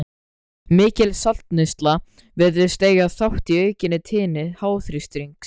Mikil saltneysla virðist eiga þátt í aukinni tíðni háþrýstings.